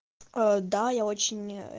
да я очень